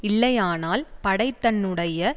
இல்லையானால் படைத்தன்னுடைய